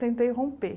Tentei romper.